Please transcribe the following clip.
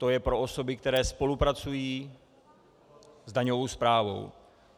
To je pro osoby, které spolupracují s daňovou správou.